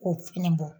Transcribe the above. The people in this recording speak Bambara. K'o fɛnɛ bɔ